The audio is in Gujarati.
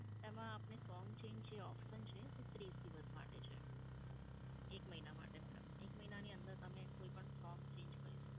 એમાં આપને song change જે option છે એ ત્રીસ દિવસ માટે છે. એક મહિના માટે madam. એક મહિનાની અંદર તમે કોઈ પણ song change કરી શકો.